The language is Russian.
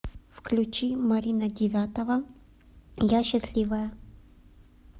включи марина девятова я счастливая